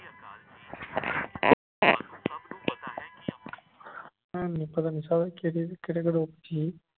ਭੈਣ ਨੂੰ ਪਤਾ ਨਹੀਂ ਸਾਲੇ ਕਿਹੜੇ ਕਿਹੜੇ